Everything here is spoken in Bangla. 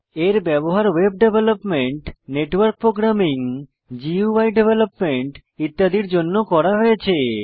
এর ব্যবহার web development network programming GUI development ইত্যাদির জন্য করা হয়েছে